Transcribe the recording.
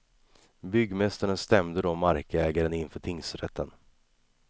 Byggmästaren stämde då markägaren inför tingsrätten.